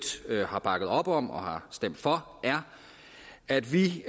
har bakket op om og har stemt for er at vi